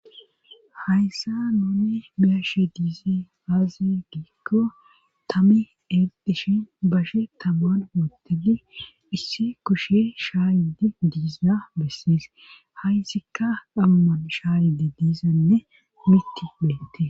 Hayssa nuunne biyashe diize aaze giikko tami erdishin bashe tabu7an utedi issi kushe shaayidi diiza bessees hayssikka dhuman shaayidi diizanne mitti beette.